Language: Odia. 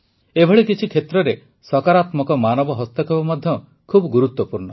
ଏଭଳି କିଛି କ୍ଷେତ୍ରରେ ସକାରାତ୍ମକ ମାନବ ହସ୍ତକ୍ଷେପ ମଧ୍ୟ ଖୁବ ଗୁରୁତ୍ୱପୂର୍ଣ୍ଣ